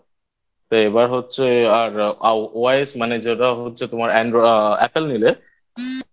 তো এবার হচ্ছে আর IOS মানে যেটা হচ্ছে তোমার Apple নিলে